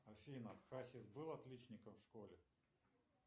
афина хасис был отличником в школе